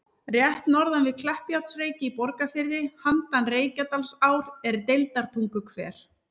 Rétt norðan við Kleppjárnsreyki í Borgarfirði, handan Reykjadalsár, er Deildartunguhver.